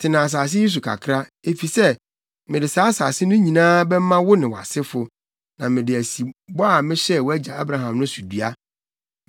Tena asase yi so kakra, efisɛ mede saa asase no nyinaa bɛma wo ne wʼasefo, na mede asi bɔ a mehyɛɛ wʼagya Abraham no so dua.